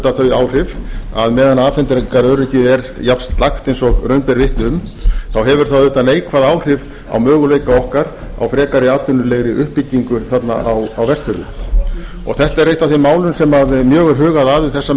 þau áhrif að á meðan afhendingaröryggið er jafn slakt og raun ber vitni um þá hefur það auðvitað neikvæð áhrif á möguleika okkar á frekari atvinnulegri uppbyggingu þarna á vestfjörðum þetta er eitt af þeim málum sem mjög er hugað að um þessar